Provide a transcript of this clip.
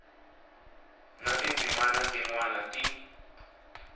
na tindzimana tin wana ti